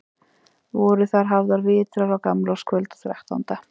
Voru þar hafðir vitar á gamlárskvöld og þrettánda.